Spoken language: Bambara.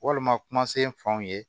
Walima kumasen fɔ an ye